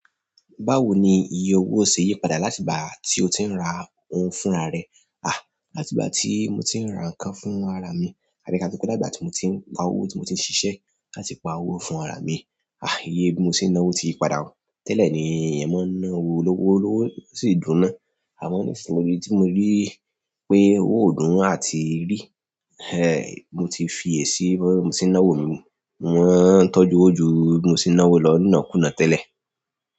Báwo ni iye owó ṣe yí padà láti ìgbà tí o ti ń ra ohun fún ara rẹ? Láti ìgbà tí mo ti ń ra nǹkan fún ara mi, àbí ká sọ pé latigbà tí mo ti ń pa owó tí mo ti ń ṣiṣẹ́, láti pa owó fún ara mi, iye bí mo ti ń ná owó tí yí padà. Tẹ́lẹ̀ ni ẹ mọ́ ná owó lọ́wọ́ sì dùn ná. Àmọ́ ni ìsìn yìí iri tí mo ríi pipin owó ó dùn àti ríi, mo tí fi iye sí bí mo ṣe ń náwó mi mo má ń tọ́jú owó jù bí mo ti ń ná owó lọ nínàkúnáà tẹ́lẹ̀.